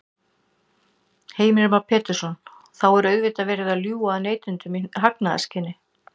Heimir Már Pétursson: Þá er auðvitað verið að ljúga að neytendum í hagnaðarskyni?